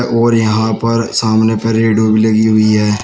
और यहां पर सामने पर लगी हुई है।